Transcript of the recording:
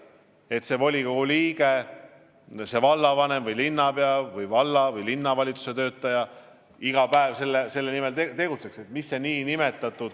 Kuidas saavutada, et volikogu liikmed, vallavanemad ja linnapead ja muud valla- või linnavalitsuse töötajad iga päev selle nimel tegutseks?